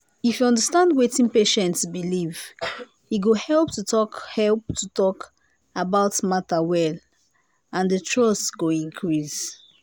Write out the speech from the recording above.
if you understand wetin patient believe e go help to talk help to talk about matter well and the trust go increase.